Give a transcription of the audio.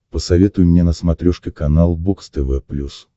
посоветуй мне на смотрешке канал бокс тв плюс